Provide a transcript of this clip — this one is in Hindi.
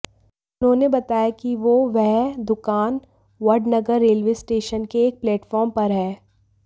उन्होंने बताया कि वो वह दुकान वडनगर रेलवे स्टेशन के एक प्लेटफार्म पर है